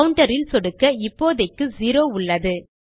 counter இல் சொடுக்க இப்போதைக்கு செரோ உள்ளது